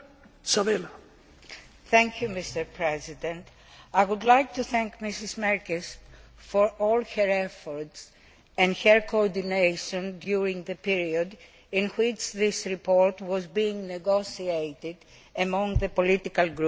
Mr President, I would like to thank Ms Merkies for all her efforts and her coordination during the period in which this report was being negotiated among the political groups.